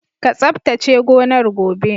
Ka tsabtace gonar gobe!